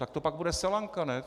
Tak to pak bude selanka, ne?